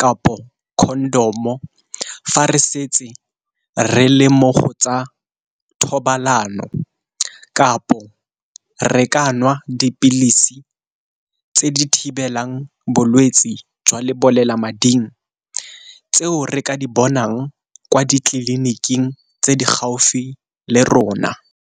kapo condom-o, fa re setse re le mmogo tsa thobalano. Kapo re ka nwa dipilisi tse di thibelang bolwetsi jwa lebolelamading, tseo re ka di bonang kwa di tleliniking tse di gaufi le rona.